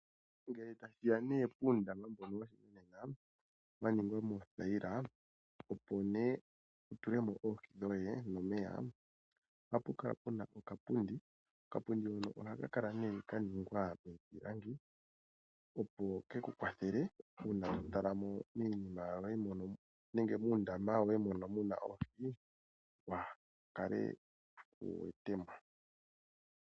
Ngele tashiya ne puundama mboka woshinanena wa ningwa noothaila. Opo ne wutulemo oohi dhoye nomeya, ohapu kala puna okapundi , okapundi hoka oha ka kala ne ka ningwa miipilinga opo keku kwathele oku tala muundama wu kale wu wetemo.